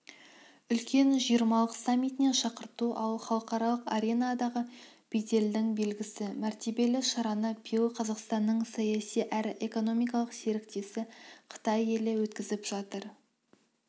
үлкен жиырмалық саммитіне шақырту алу халықаралық аренадағы беделдің белгісі мәртебелі шараны биыл қазақстанның саяси әрі экономикалық серіктесі қытай елі өткізіп жатыр